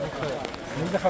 Bu kimdir?